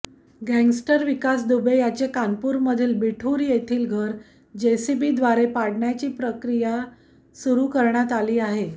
gangster Vikas Dubey याचे कानपूरमधील बिठूर येथील घर जेसीबीद्वारे पाडण्याची प्रक्रिया सुरू करण्यात आली आहे